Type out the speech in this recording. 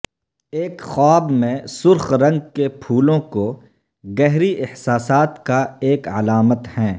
ایک خواب میں سرخ رنگ کے پھولوں کو گہری احساسات کا ایک علامت ہیں